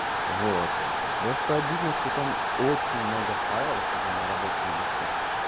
вот просто обидно что там очень много файлов особенно на рабочем диске